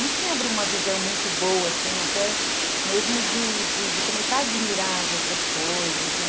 Isso me abriu uma visão muito boa, assim, até mesmo de começar a admirar as outras coisas, né?